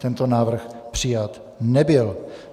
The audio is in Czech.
Tento návrh přijat nebyl.